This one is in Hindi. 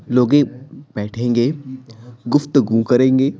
लोगे बैठेंगे गुफ्तगू करेंगे--